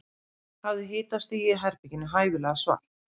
Hafðu hitastigið í svefnherberginu hæfilega svalt.